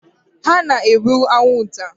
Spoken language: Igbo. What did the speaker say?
hụ na e gburu anwụnta!